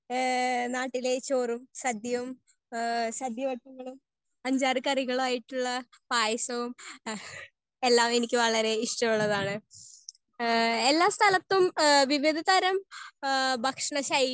Speaker 1 ഹേ നാട്ടിലെ ചോറും സാധ്യയും ഹേ സാധ്യ ന്റെ അഞ്ചാറു കറികളും ആയിട്ടുള്ള പായസവും എല്ലാം എനിക്ക് വളരെ ഇഷ്ടം ഉള്ളതാണ്. ഹേ എല്ലാം സ്ഥലത്തും വിവിധ തരം ഹേ ഭക്ഷണ ശൈലി